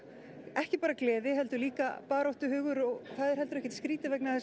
ekki bara gleði heldur líka baráttuhugur og það er heldur ekkert skrítið vegna þess